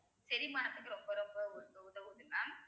செரிமானத்துக்கு ரொம்ப ரொம்ப உதவுது mam